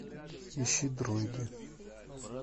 ищи дроиды